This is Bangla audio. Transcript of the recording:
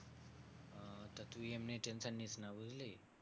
আচ্ছা তুই এমনি tension নিসনা বুঝলি?